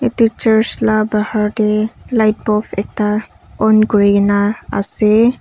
etu church la bahar te light bulf ekta on kuri kena ase.